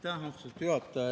Aitäh, austatud juhataja!